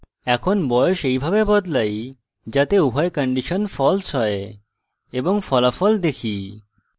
এখন বয়স এইভাবে বদলাই যাতে উভয় কন্ডিশন false হয় এবং ফলাফল দেখি